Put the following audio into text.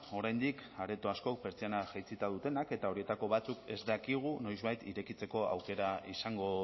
oraindik areto askok pertsiana jaitsita dutenak eta horietako batzuk ez dakigu noizbait irekitzeko aukera izango